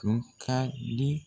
Tun ka di.